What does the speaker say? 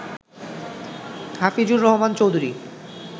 Hafizur Rahman Chowdhury